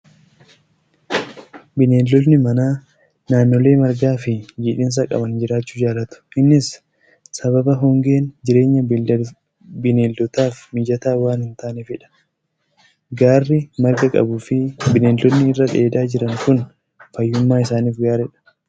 Bineeldonni manaa naannolee margaa fi jiidhinsa qaban jiraachuu jaalatu. Innis sababa hongeen jireenya bineeldotaaf mijataa waan hin taaneefidha. Gaarri marga qabuu fi bineeldonni irra dheedaa jiran kun fayyummaa isaaniif gaariidha.